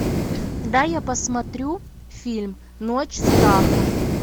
дай я посмотрю фильм ночь страха